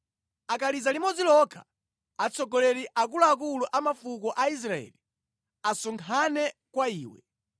Akaliza limodzi lokha, atsogoleri, akulu a mafuko a Aisraeli, asonkhane kwa iwe.